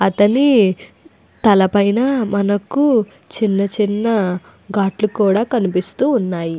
అతని తల పైన మనకు చిన్న చిన్న గాట్లు కూడా కనిపిస్తున్నాయి.